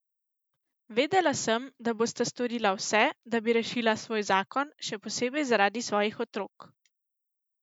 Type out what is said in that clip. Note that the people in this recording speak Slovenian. Vedela sem, da bosta storila vse, da bi rešila svoj zakon, še posebej zaradi svojih otrok.